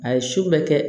A ye su bɛɛ kɛ